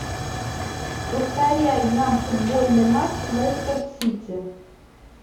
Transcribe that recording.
повторяй нам футбольный матч лестер сити